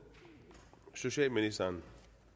socialministeren